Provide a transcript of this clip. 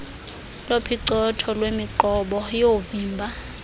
lophicotho lwemiqobo yoovimba